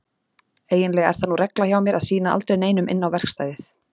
Eiginlega er það nú regla hjá mér að sýna aldrei neinum inn á verkstæðið.